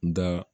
N ga